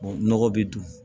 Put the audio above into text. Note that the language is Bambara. nɔgɔ bɛ don